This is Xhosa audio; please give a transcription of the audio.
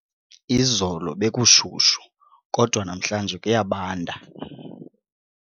Izolo bekushushu kodwa namhlanje kuyabanda.